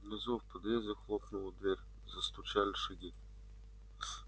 внизу в подъезде хлопнула дверь застучали шаги